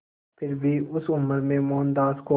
फिर भी उस उम्र में मोहनदास को